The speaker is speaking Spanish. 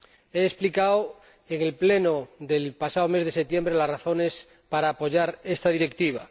He explicado ―en el Pleno del pasado mes de septiembre― las razones para apoyar esta Directiva.